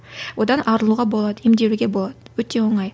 одан арылуға болады емделуге болады өте оңай